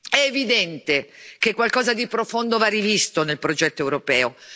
È evidente che qualcosa di profondo va rivisto nel progetto europeo.